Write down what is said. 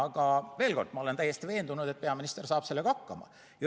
Aga veel kord: ma olen täiesti veendunud, et peaminister saab sellega hakkama.